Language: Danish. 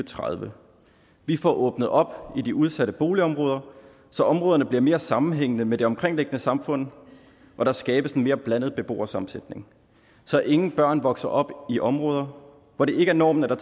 tredive vi får åbnet op i de udsatte boligområder så områderne bliver mere sammenhængende med det omkringliggende samfund og der skabes en mere blandet beboersammensætning så ingen børn vokser op i områder hvor det ikke er normen at